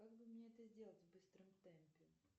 как бы мне это сделать в быстром темпе